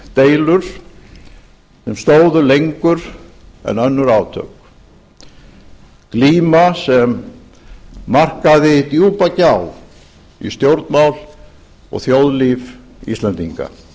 deilur sem stóðu lengur en önnur átök glíma sem markaði djúpa gjá í stjórnmál og þjóðlíf íslendinga